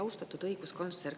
Austatud õiguskantsler!